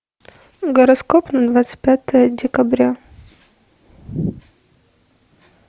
гороскоп на двадцать пятое декабря